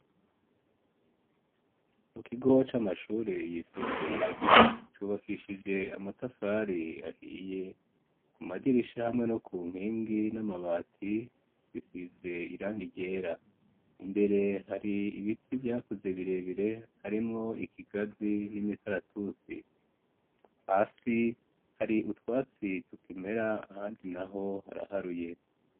Mukigo c'amashure yisumbuye ,cubakishije amatafari ahiye, ku madirisha hamwe no ku Nkingi n'amabati bisize irangi ryera ,imbere hari ibiti vyakuze birebire harimwo ikigazi ,n'imikaratusi ,hasi hari utwatsi tukimera handi naho haraharuye.